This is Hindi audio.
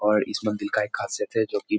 और इस मंदिर का एक खासियत है जो कि --